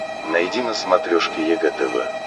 найди на смотрешке егэ тв